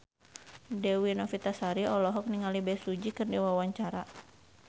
Dewi Novitasari olohok ningali Bae Su Ji keur diwawancara